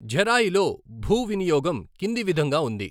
ఝెరాయిలో భూ వినియోగం కింది విధంగా ఉంది